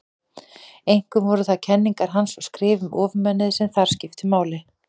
Einkum voru það kenningar hans og skrif um ofurmennið sem þar skiptu máli.